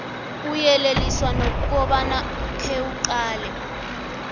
uyeleliswa nokobana khewuqale